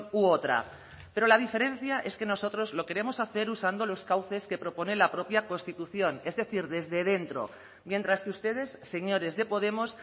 u otra pero la diferencia es que nosotros lo queremos hacer usando los cauces que propone la propia constitución es decir desde dentro mientras que ustedes señores de podemos